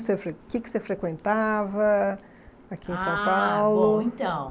Você fre O que que você frequentava aqui em São Paulo? Ah, bom, então